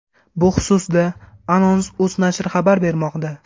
Bu xususda Anons.uz nashri xabar bermoqda .